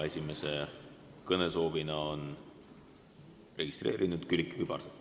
Esimese kõnesoovijana on registreerunud Külliki Kübarsepp.